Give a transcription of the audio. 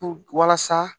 Puru walasa